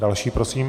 Další prosím.